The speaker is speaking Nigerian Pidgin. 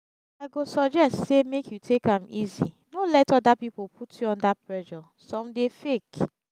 i go suggest say make you take am easy no let other people put you under pressure some dey fake